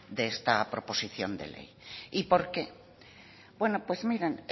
de esta proposición de ley y por qué miren